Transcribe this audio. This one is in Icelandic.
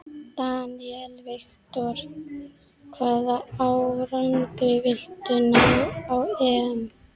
Daniel Victor: Hvaða árangri viltu ná á EM?